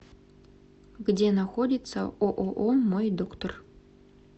где находится ооо мой доктор